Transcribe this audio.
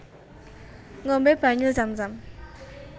Ngombé banyu Zam zam